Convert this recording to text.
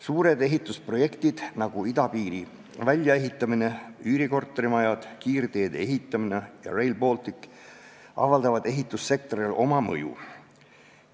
Suured ehitusprojektid, nagu idapiiri väljaehitamine, üürikortermajad, kiirteede ehitamine ja Rail Baltic, avaldavad ehitussektorile mõju.